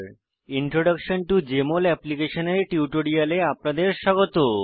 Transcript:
introduction to Jmol application এর টিউটোরিয়ালে আপনাদের স্বাগত